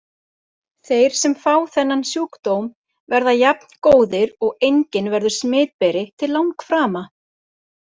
Þeir sem fá þennan sjúkdóm verða jafngóðir og enginn verður smitberi til langframa.